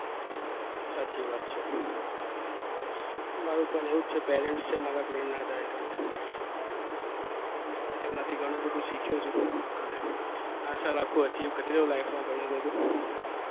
સાચી વાત છે એમના થી હું પણ ઘણું એવું શીખ્યો છુ